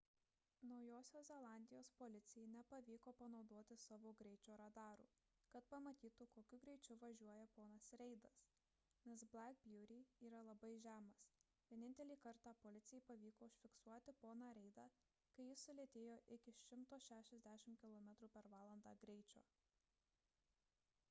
naujosios zelandijos policijai nepavyko panaudoti savo greičio radarų kad pamatytų kokiu greičiu važiuoja ponas reidas nes black beauty yra labai žemas – vienintelį kartą policijai pavyko užfiksuoti poną reidą kai jis sulėtėjo iki 160 km/h greičio